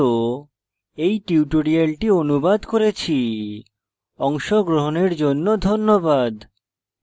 অংশগ্রহনের জন্য ধন্যবাদ